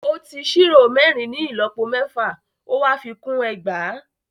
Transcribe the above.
Ó ti ṣírò mẹ́rin ní ìlọ́po mẹ́fà, ó wá fi kún ẹgbàá.